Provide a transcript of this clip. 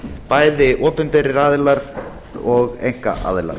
bæði opinberir aðilar og einkaaðilar